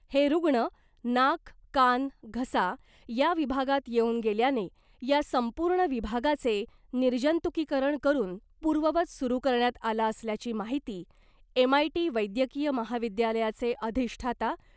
हे रूग्ण नाक , कान , घसा या विभागात येवून गेल्याने या संपूर्ण विभागाचे निर्जंतुकीकरण करून पूर्ववत सुरू करण्यात आला असल्याची माहिती एमआयटी वैद्यकीय महाविद्यालयाचे अधिष्ठाता